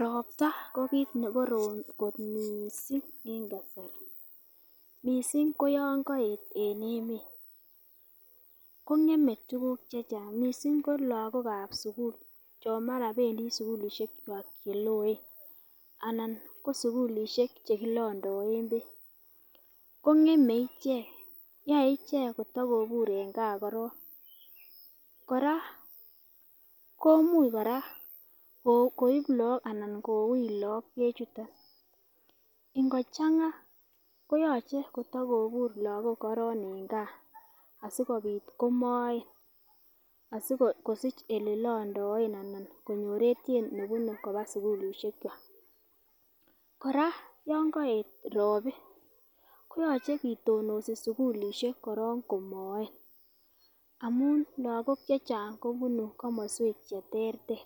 Ropta ko kit nekorom kot missing en kasari missing ko yon koyet en emet kongeme tukuk chechang missing ko lokokab sukul chon mara pendii sukulishekwak cheloen anan ko sukulishek chekilondoen beek kongeme ichek yoe ichek kitakobur en gaa korong. Koraa komuch Koraa koib Lok anan koweich Lok beek chuton ingochanga koyoche kotokobur Lok korong en gaa asikopit komoen asikosich ele londoen anan konyor etyet nelondoen koba sukulishek kwak. Koraa yon koet ropi koyoche kitonosi sukulishek korong komoen amun lokok chechang kobunu komoswek cheterter